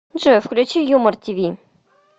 джой включи юмор ти ви